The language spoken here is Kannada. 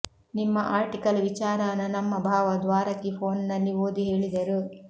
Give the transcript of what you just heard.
ನಿಮ್ಮ ಆರ್ಟಿಕಲ್ ವಿಚಾರಾನ ನಮ್ಮ ಭಾವ ದ್ವಾರಕಿ ಫೋನ್ನಲ್ಲಿ ಓದಿ ಹೇಳಿದರು